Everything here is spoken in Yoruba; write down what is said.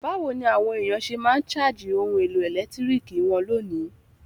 Bàwoni àwon èyàn se ma n charge oun èlò ẹ̀lẹ́ntiriki won lónìí?